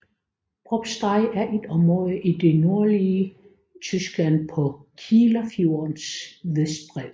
Probstei er et område i det nordlige Tyskland på Kielerfjordens vestbred